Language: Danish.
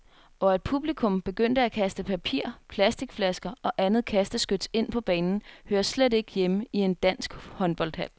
Og at publikum begyndte at kaste papir, plasticflasker og andet kasteskyts ind på banen hører slet ikke hjemme i en dansk håndboldhal.